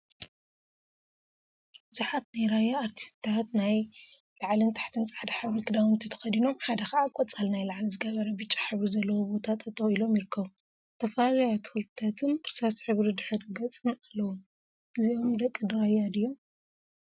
ቡዙሓት ናይ ራያ አርቲስቲታት ናይ ላዕሊን ታሕቲን ፃዕዳ ሕብሪ ክዳውንቲ ተከዲኖም ሓደ ከዓ ቆፃል ናይ ላዕሊ ዝገበረን ብጫ ሕብሪ ዘለዎ ቦታ ጠጠወ ኢሎም ይርከቡ፡፡ ዝተፈላለዩ አትክልቲታትን እርሳስ ሕብሪ ድሕረ ገፅን አለዎም፡፡ እዚኦም ደቂ ራያ ድዮም?